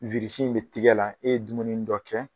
in be tigɛ la, e ye dumuni dɔ kɛ